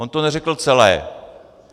On to neřekl celé.